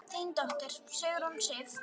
Þín dóttir, Sigrún Sif.